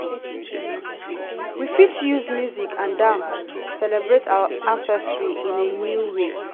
we fit use music and dance celebrate our ancestry in a new way.